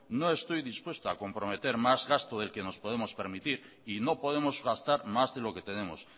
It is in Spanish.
no estoy dispuesto a comprometer más gasto del que nos podemos permitir y no podemos gastar más de lo que tenemos